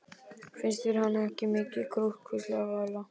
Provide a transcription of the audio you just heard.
Finnst þér hann ekki mikið krútt? hvíslaði Vala.